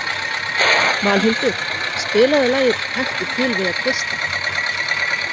Valhildur, spilaðu lagið „Taktu til við að tvista“.